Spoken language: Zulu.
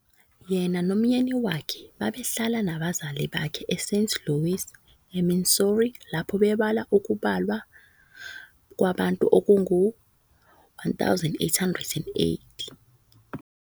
Yena nomyeni wakhe babehlala nabazali bakhe eSt Louis, eMissouri lapho bebalwa Ukubalwa kwabantu okungu-1880.